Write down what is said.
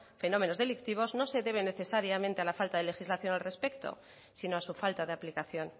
fenómenos delictivos no se debe necesariamente a la falta de legislación al respecto sino a su falta de aplicación